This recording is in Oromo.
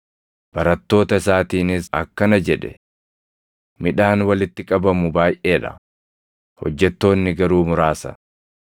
Barattoota isaatiinis akkana jedhe; “Midhaan walitti qabamu baayʼee dha; hojjettoonni garuu muraasa.